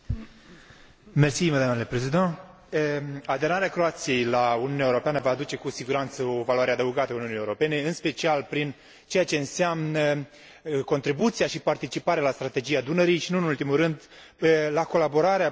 Aderarea Croației la Uniunea Europeană va aduce cu siguranță o valoare adăugată Uniunii Europene, în special prin ceea ce înseamnă contribuția și participarea la Strategia Dunării și, nu în ultimul rând, la colaborarea pentru regiunea Europei de Sud Est.